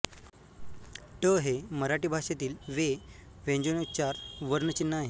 ट हे मराठी भाषेतील वे व्यंजनोच्चार वर्ण चिन्ह आहे